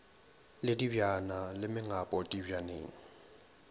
le dibjana le mengapo dibjaneng